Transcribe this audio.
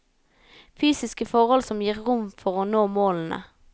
Fysiske forhold som gir rom for å nå målene.